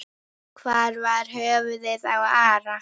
Hvar var höfuðið á Ara?